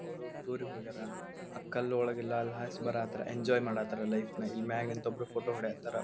ಅವ್ರು ಟೂರ್ ಗೆ ಹೋಗ್ಯಾರ ಆಹ್ಹ್ ಕಲ್ಲ್ ಒಳಗೆಲ್ಲ ಅಲ್ಲಿ ಎಂಜಾಯ್ ಮಾಡ್ ಹತಾರ ಲೈಫ್ ನ ಮ್ಯಾಗ್ ನಿಂತು ಒಬ್ರು ಫೋಟೋ ಹೊಡೆಯ ಹತಾರ.